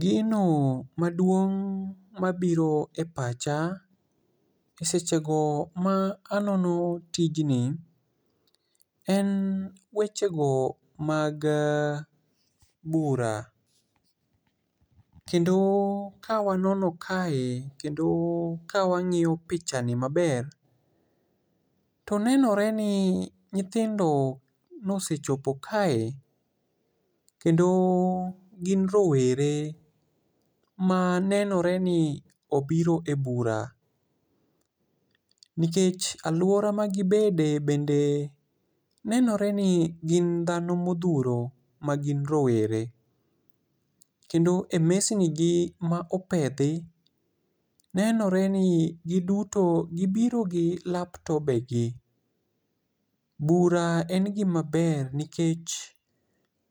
Gino maduong mabiro e pacha, e sechego ma anono tijni, en weche go mag bura. Kendo ka wanono kae kendo ka wang'iyo pichani maber, to nenore ni nyithindo nosechopo kae, kendo gin rowere manenore ni obiro e bura. Nikech alwora magibede bende nenore ni gin dhano modhuro magin rowere. Kendo e mesni gi ma opedhi, nenore ni giduto, gibiro gi laptop e gi. Bura en gima ber nikech